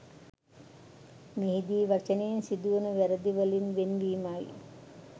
මෙහිදී වචනයෙන් සිදුවන වැරැදිවලින් වෙන්වීමයි